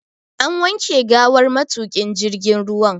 An wanke gawar matuƙin jirgin ruwa.